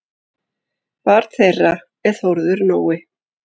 Barn þeirra er Þórður Nói.